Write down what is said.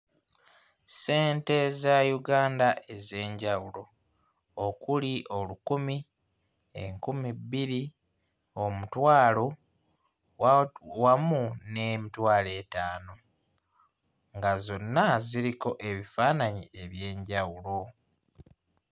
Ssente za Uganda ez'enjawulo okuli olukumi, enkumi bbiri, omutwalo, wa wamu n'emitwalo etaano nga zonna ziriko ebifaananyi eby'enjawulo.